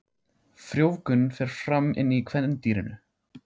Frjóvgun fer fram inni í kvendýrinu.